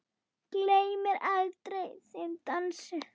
Gleymi aldrei þeim dansi.